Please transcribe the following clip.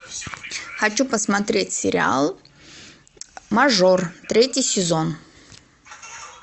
хочу посмотреть сериал мажор третий сезон